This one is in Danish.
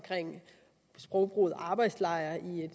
sprogbrugen med ordet arbejdslejre i